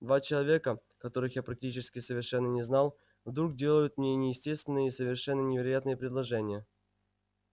два человека которых я практически совершенно не знал вдруг делают мне неестественные и совершенно невероятные предложения